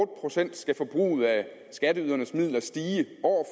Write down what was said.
procent skal forbruget af skatteydernes midler stige år